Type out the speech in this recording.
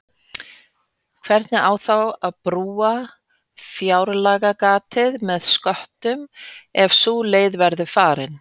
Hvernig á þá að brúa fjárlagagatið með sköttum ef sú leið verður farin?